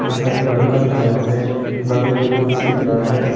यहां एक लड़का दिख रहा है बगल में कुर्सी दिख रहा है।